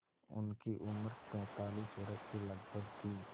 उनकी उम्र पैंतालीस वर्ष के लगभग थी